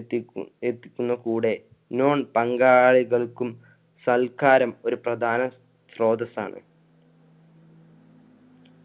എത്തിക്കു~ എത്തിക്കുന്നത് കൂടെ non പങ്കാളികൾക്കും സൽക്കാരം ഒരു പ്രധാന ശ്രോതസ്സാണ്.